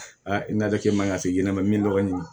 i nali kɛ man ka se ɲɛnɛma min lɔgɔ ɲini